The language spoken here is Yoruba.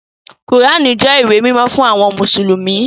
Kùránì jẹ́ ìwé mímọ́ fún àwọn mùsùlùmí